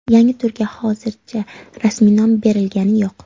Yangi turga hozircha rasmiy nom berilgani yo‘q.